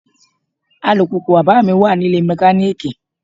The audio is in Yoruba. Alùpùpù bàbáà mi wà nílée mẹkaníìkì.